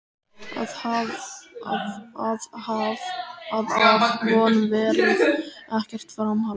Að af honum verði ekkert framhald.